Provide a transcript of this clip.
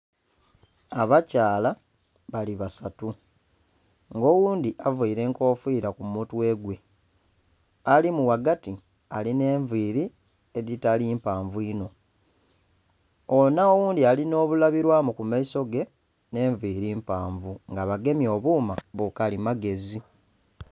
Abakyala nga bali basatu nga oghundhi avaire enkofiira kumutwe alimu ghagati alinhenviiri edhitali mpanvu inho onho oghundhi alinho bulibirwamu kumaiso ge nh'enviiri mpanvu nga bagemye obuma bukalimagezi.